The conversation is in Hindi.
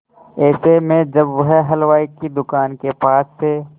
ऐसे में जब वह हलवाई की दुकान के पास से